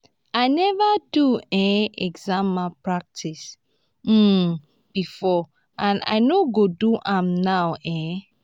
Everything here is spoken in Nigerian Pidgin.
i never do um exam malpractice um before and i no go do am now um